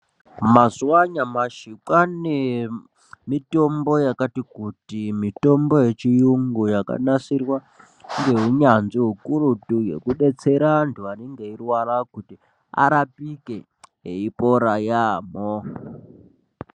Mazuwa anyamashi kwaane mitombo yakati kuti mitombo yechiyungu yakanasirwa ngeunyanzvi hukurutu yekubetsera antu anenge eirwara kuti arapike eipora yaampho.